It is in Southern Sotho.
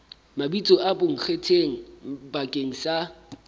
mabitso a bonkgetheng bakeng sa